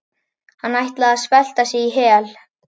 Hann ætlaði að svelta sig í hel.